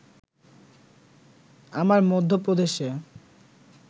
আমার মধ্যপ্রদেশে